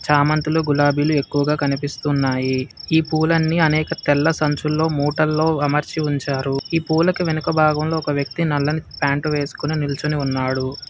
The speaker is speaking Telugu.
చామంతులు గులాబీలు ఎక్కువగా కనిపిస్తున్నాయి ఈ పూలన్నీ అనేక తెల్ల సంచుల్లో మూటల్లో అమర్చి ఉంచారు ఈ పూలకి వెనుక భాగంలో ఒక వ్యక్తి నల్లని ప్యాంటు వేసుకొని నిల్చుని ఉన్నాడు.